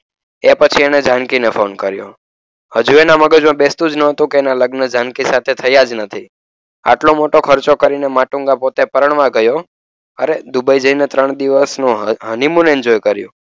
એ પછી એણે જાનકીને ફોન કર્યો. હજુ એના મગજમાં બેસતું જ ન હતું. કે એના લગ્ન જાનકી સાથે થયા જ નથી. આટલો મોટો ખર્ચો કરીને માટુંગા પોતે પરણવા ગયો. હરે દુબઈ જઈને ત્રણ દિવસનો honeymoon enjoy કર્યું.